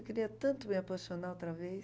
Eu queria tanto me apaixonar outra vez.